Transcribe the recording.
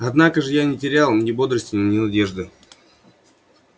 однако ж я не терял ни бодрости ни надежды